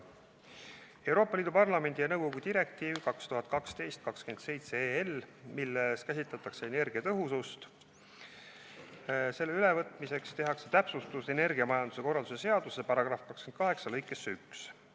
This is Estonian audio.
Et võtta üle Euroopa Parlamendi ja nõukogu direktiiv 2012/27/EL, milles käsitletakse energiatõhusust, tehakse täpsustusi energiamajanduse korralduse seaduse § 28 lõikesse 1.